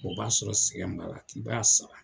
O b'a sɔrɔ sɛgɛn b'a la k'i b'a sara.